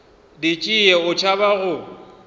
di tšee o tšhaba go